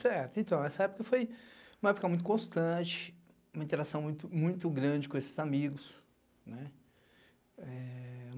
Certo, então essa época foi uma época muito constante, uma interação muito grande com esses amigos, né?